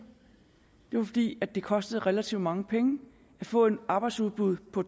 det var fordi det kostede relativt mange penge at få et arbejdsudbud på